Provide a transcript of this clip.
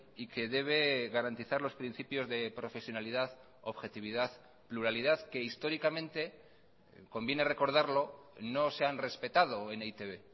y que debe garantizar los principios de profesionalidad objetividad pluralidad que históricamente conviene recordarlo no se han respetado en e i te be